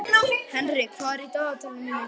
Henrik, hvað er í dagatalinu mínu í dag?